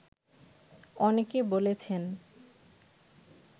অনেকে বলেছেন